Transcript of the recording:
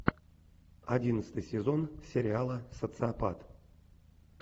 одиннадцатый сезон сериала социопат